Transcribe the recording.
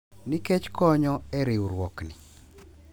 Nikech konyo e riwruokni.